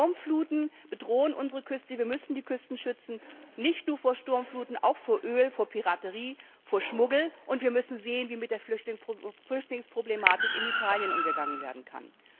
Sturmfluten bedrohen unsere Küste. Wir müssen die Küsten schützen, nicht nur vor Sturmfluten, auch vor Öl, vor Piraterie, vor Schmuggel, und wir müssen sehen, wie mit der Flüchtlingsproblematik in Italien umgegangen werden kann.